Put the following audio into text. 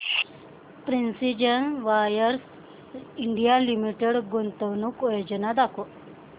precision wires India limited गुंतवणूक योजना दाखव